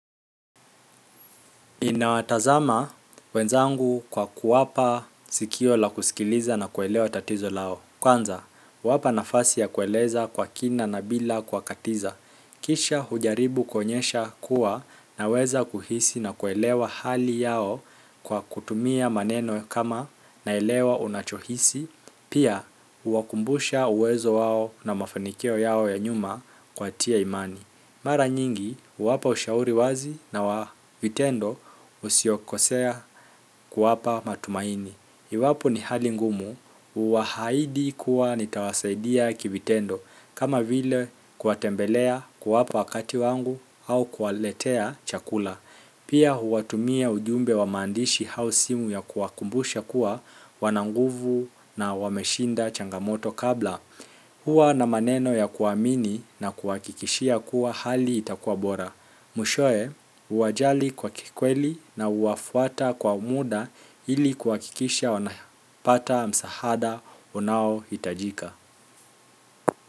Ninawatazama wenzangu kwa kuwapa sikio la kusikiliza na kuelewa tatizo lao. Kwanza, wapa nafasi ya kueleza kwa kina na bila kuwakatiza. Kisha hujaribu kuonyesha kuwa naweza kuhisi na kuelewa hali yao kwa kutumia maneno kama naelewa unachohisi, pia huwakumbusha uwezo wao na mafanikio yao ya nyuma kuwatia imani. Mara nyingi, huwapa ushauri wazi na wa vitendo usiokosea kuwapa matumaini. Iwapo ni hali ngumu, huwaahidi kuwa nitawasaidia kivitendo, kama vile kuwatembelea, kuwapa wakati wangu au kuwaletea chakula. Pia huwatumia ujumbe wa maandishi au simu ya kuwakumbusha kuwa wana nguvu na wameshinda changamoto kabla. Huwa na maneno ya kuamini na kuwahakikishia kuwa hali itakuwa bora. Mwishowe, huwajali kwa kikweli na huwafuata kwa muda ili kuhakikisha wanapata msaada unaohitajika.